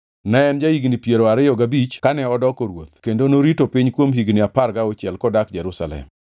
Ne en ja-higni piero ariyo gabich kane odoko ruoth kendo norito piny kuom higni apar gauchiel kodak Jerusalem.